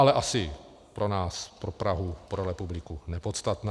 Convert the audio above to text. Ale asi pro nás, pro Prahu, pro republiku nepodstatná.